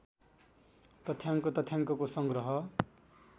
तथ्याङ्क तथ्याङ्कको संग्रह